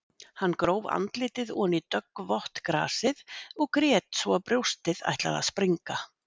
Hann gróf andlitið oní döggvott grasið og grét svo að brjóstið ætlaði að springa.